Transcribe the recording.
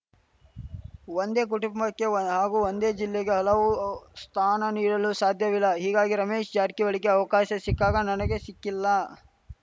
ಒಂದೇ ಕುಟುಂಬಕ್ಕೆ ಹಾಗೂ ಒಂದೇ ಜಿಲ್ಲೆಗೆ ಹಲವು ಸ್ಥಾನ ನೀಡಲು ಸಾಧ್ಯವಿಲ್ಲ ಹೀಗಾಗಿ ರಮೇಶ್‌ ಜಾರಕಿಹೊಳಿಗೆ ಅವಕಾಶ ಸಿಕ್ಕಾಗ ನನಗೆ ಸಿಕ್ಕಿಲ್ಲ